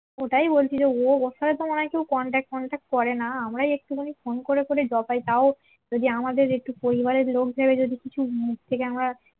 ও ওটাই বলছি যে ওর সাথে তো মনে হয় কেউ contact ফনট্যাঁক করে না আমরাই একটু ফোন করে করে জপাই তাও যদি আমাদের একটু পরিবারের লোক ভেবে যদি কিছু মুখ থেকে আমরা